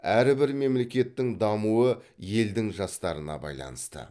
әрбір мемлекеттің дамуы елдің жастарына байланысты